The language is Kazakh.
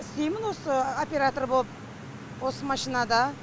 істеймін осы оператор боп осы машинада